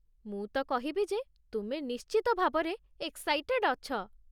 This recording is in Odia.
ମୁଁ ତ କହିବି ଯେ, ତୁମେ ନିଶ୍ଚିତ ଭାବରେ ଏକ୍ସାଇଟେଡ୍ ଅଛ ।